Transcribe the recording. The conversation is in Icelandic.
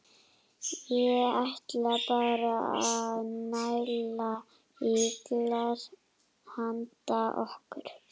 Ég ætla bara að næla í glas handa okkur.